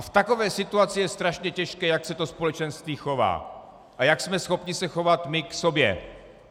A v takové situaci je strašně těžké, jak se to společenství chová a jak jsme schopni se chovat my k sobě.